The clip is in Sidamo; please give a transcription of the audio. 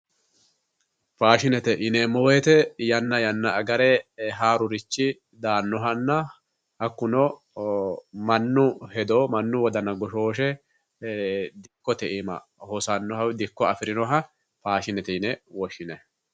Faashinete yineemmo woyiite yanna yanna agare haarurichi daannohanna hakkuno mannu hedo mnnu wodana goshooshse dikkote iima hosannohanna dikko afirannoha faashinete yine woshshineemmo